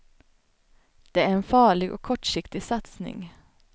Det är en farlig och kortsiktig satsning.